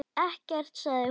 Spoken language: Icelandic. Ekkert, sagði hún.